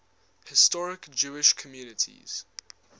historic jewish communities